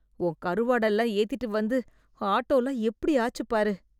உன் கருவாடெல்லாம் ஏத்திட்டு வந்து, ஆட்டோலாம் எப்படி ஆச்சு பாரு.